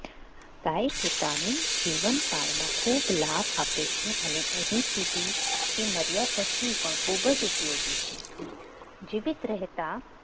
ગાય પોતાની જીવનકાળમાં ખૂબ લાભ આપે છેઅને અહીં સુધી એ મર્યા પછી પણ ખૂબ જ ઉપયોગી છે જીવિત રહેતા